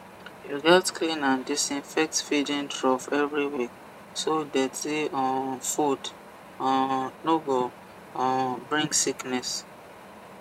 you gats clean and disinfect feeding trough every week so dirty um food um no go um bring sickness